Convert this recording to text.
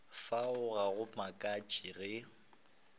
fao ga go makatše ge